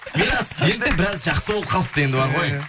мирас енді біраз жақсы болып қалыпты енді бар ғой